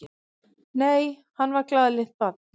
Nei, hann var glaðlynt barn.